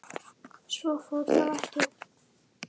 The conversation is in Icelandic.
Svo fór þó ekki.